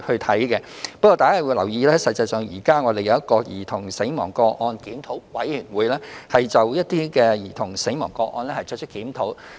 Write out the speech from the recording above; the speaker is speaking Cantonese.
大家應留意的是，我們現已設有兒童死亡個案檢討委員會，就兒童死亡個案作出檢討。